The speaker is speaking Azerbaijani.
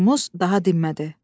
Urmuz daha dinmədi.